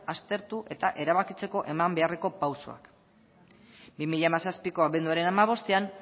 aztertu eta erabakitzeko eman beharreko pausuak bi mila hamazazpiko abenduaren hamabostean